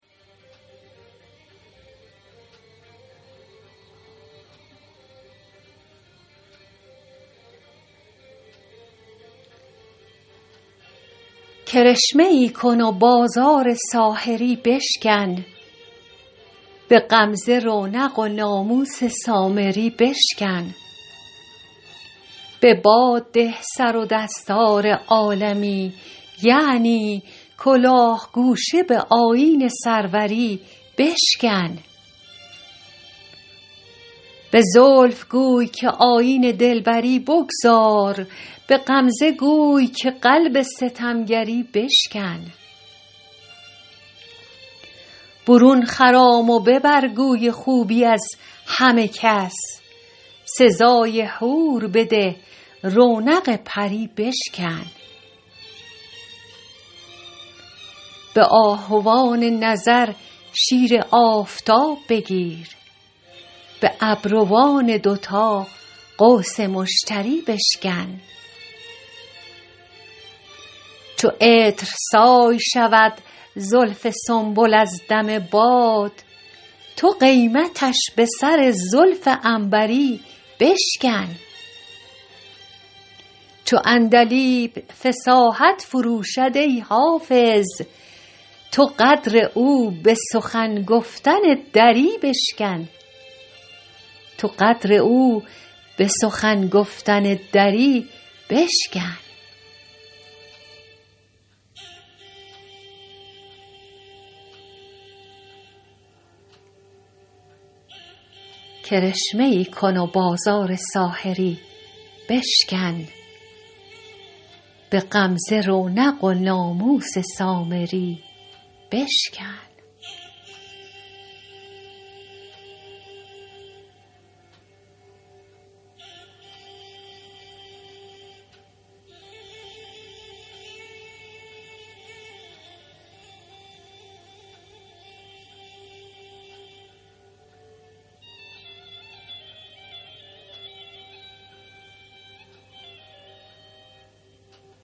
کرشمه ای کن و بازار ساحری بشکن به غمزه رونق و ناموس سامری بشکن به باد ده سر و دستار عالمی یعنی کلاه گوشه به آیین سروری بشکن به زلف گوی که آیین دلبری بگذار به غمزه گوی که قلب ستمگری بشکن برون خرام و ببر گوی خوبی از همه کس سزای حور بده رونق پری بشکن به آهوان نظر شیر آفتاب بگیر به ابروان دوتا قوس مشتری بشکن چو عطرسای شود زلف سنبل از دم باد تو قیمتش به سر زلف عنبری بشکن چو عندلیب فصاحت فروشد ای حافظ تو قدر او به سخن گفتن دری بشکن